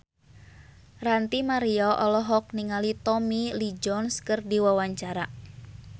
Ranty Maria olohok ningali Tommy Lee Jones keur diwawancara